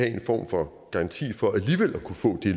en form for garanti for alligevel at kunne få